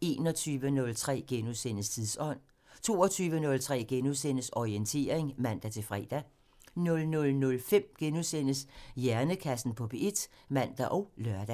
*(man) 21:03: Tidsånd *(man) 22:03: Orientering *(man-fre) 00:05: Hjernekassen på P1 *(man og lør)